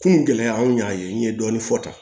Kungo gɛlɛya anw y'a ye n ye dɔɔnin fɔ tan